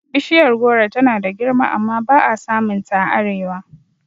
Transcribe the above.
Bishiyar goro tana da girma amma ba'a samun ta a arewa